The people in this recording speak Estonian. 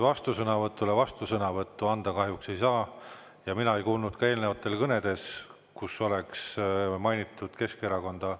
Vastusõnavõtule vastusõnavõttu anda kahjuks ei saa ja mina ei kuulnud ka eelnevates kõnedes, kus oleks mainitud Keskerakonda.